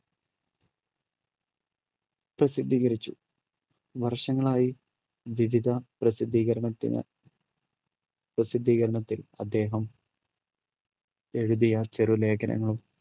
പ്രസിദ്ധീകരിച്ചു വർഷങ്ങളായി വിവിധ പ്രസിദ്ധീകരണത്തിന് പ്രസിദ്ധീകരണത്തിൽ അദ്ദേഹം എഴുതിയ ചെറുലേഖനങ്ങളും